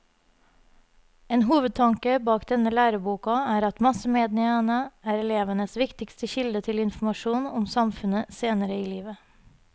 En hovedtanke bak denne læreboka er at massemediene er elevenes viktigste kilde til informasjon om samfunnet senere i livet.